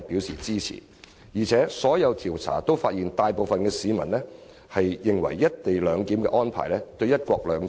所有調查亦發現，大部分市民認為"一地兩檢"安排不會影響"一國兩制"。